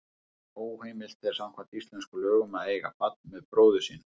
Óheimilt er samkvæmt íslenskum lögum að eiga barn með bróður sínum.